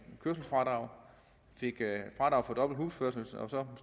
kørselsfradrag fik fradrag for dobbelt husførelse og så